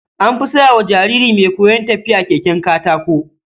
An fi saya wa jariri mai koyon tafiya keken katako.